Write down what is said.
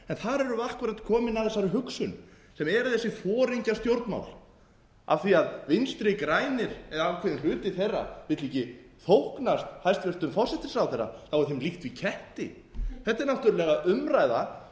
við akkúrat komin að þessari hugsun sem eru þessi foringjastjórnmál af því að vinstri grænir eru ákveðinn hluti þeirra vildu ekki þóknast hæstvirtur forsætisráðherra þá er þeim líkt við ketti þetta er umræða